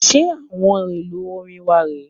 Ṣe àwọn èlò orin wà re é